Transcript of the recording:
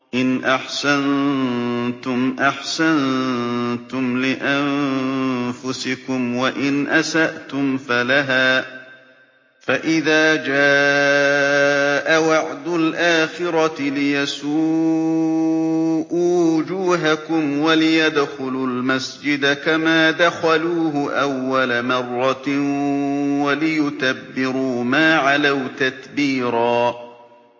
إِنْ أَحْسَنتُمْ أَحْسَنتُمْ لِأَنفُسِكُمْ ۖ وَإِنْ أَسَأْتُمْ فَلَهَا ۚ فَإِذَا جَاءَ وَعْدُ الْآخِرَةِ لِيَسُوءُوا وُجُوهَكُمْ وَلِيَدْخُلُوا الْمَسْجِدَ كَمَا دَخَلُوهُ أَوَّلَ مَرَّةٍ وَلِيُتَبِّرُوا مَا عَلَوْا تَتْبِيرًا